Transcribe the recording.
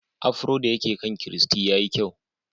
Afro da yake kan Christy ya yi kyau.